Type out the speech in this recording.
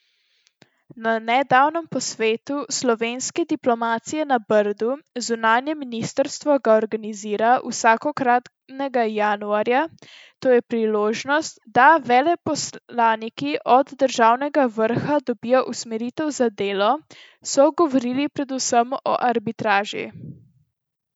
Na nedavnem posvetu slovenske diplomacije na Brdu, zunanje ministrstvo ga organizira vsakokratnega januarja, to je priložnost, da veleposlaniki od državnega vrha dobijo usmeritve za delo, so govorili predvsem o arbitraži.